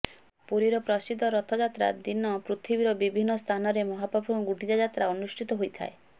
ପୁରୀର ପ୍ରସିଦ୍ଧ ରଥଯାତ୍ରା ଦିନ ପୃଥିବୀର ବିଭିନ୍ନ ସ୍ଥାନରେ ମହାପ୍ରଭୁଙ୍କ ଗୁଣ୍ଡିଚାଯାତ୍ରା ଅନୁଷ୍ଠିତ ହୋଇଥାଏ